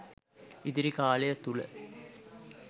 ඉදිරි කාලය තුළ